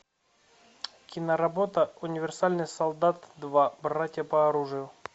киноработа универсальный солдат два братья по оружию